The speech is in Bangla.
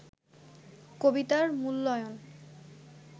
কবিতার মূল্যায়ন